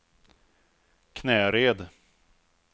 Knäred